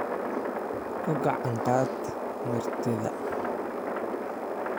Ku gacan qaad martida